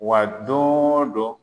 Wa don o don